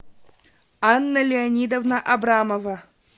анна леонидовна абрамова